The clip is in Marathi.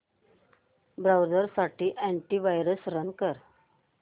ब्राऊझर साठी अॅंटी वायरस रन कर